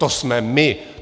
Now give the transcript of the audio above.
To jsme my.